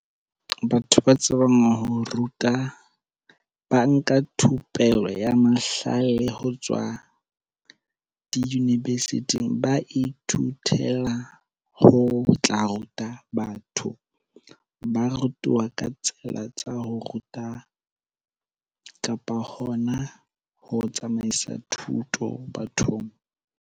Batho ba tsebang ho ruta ba nka thupelo ya mahlale ho tswa di-university-ng. Ba ithutela ho tla ruta batho. Ba rutuwa ka tsela tsa ho ruta kapa hona ho tsamaisa thuto bathong.